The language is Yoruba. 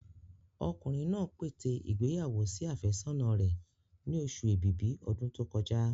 Ọkùnrin náà pète ìgbéyàwó sí àfẹ́sọ́nà rẹ̀ ni oṣù ẹ̀bìbí ọdún tó kọjá.